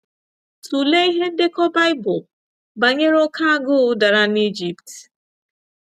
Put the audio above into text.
Tụlee ihe ndekọ baịbụl banyere oké agụụ dara n’Ijipt.